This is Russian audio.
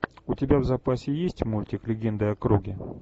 у тебя в запасе есть мультик легенды о круге